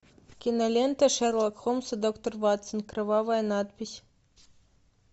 кинолента шерлок холмс и доктор ватсон кровавая надпись